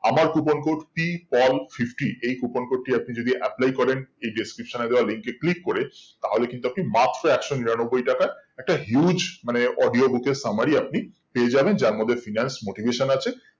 আমার coupon code p paul fifty এই coupon code টি আপনি যদি apply করেন এই description এ দেওয়া link এ click করে তাহলে কিন্তু আপনি মাত্র একশো নিরানব্বই টাকায় একটা huge মানে audio book এর summary আপনি পেয়ে যাবেন যার মধ্যে finance motivation আছে